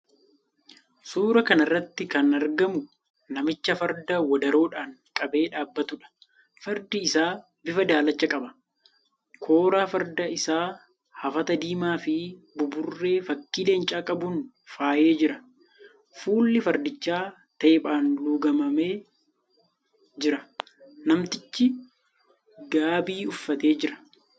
Suuraa kana irratti kan argamu namicha farda wadaroodhaan qabee dhaabbatuudha. Fardi isaa bifa daalacha qaba. Kooraa farda isaa hafata diimaafi buburree fakkii leencaa qabuun faayee jira. Fuulli fardichaa teephaan luugamee jira. Namtichi gaabii uffatee jira.